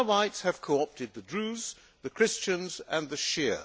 The Alawites have co opted the Druze, the Christians and the Shia.